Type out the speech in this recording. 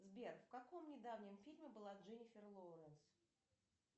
сбер в каком недавнем фильме была дженнифер лоуренс